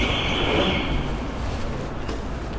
বললাম না আত্মার ব্যাপার